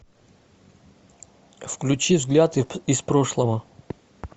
включи взгляд из прошлого